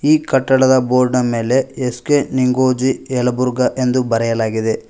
ಈ ಕಟ್ಟಡದ ಬೋರ್ಡ್ನ ಮೇಲೆ ಎಸ್_ಕೆ ನಿಂಗೋಜಿ ಯಲಬುರ್ಗಾ ಎಂದು ಬರೆಯಲಾಗಿದೆ.